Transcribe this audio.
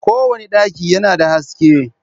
kowane daki yana da haske.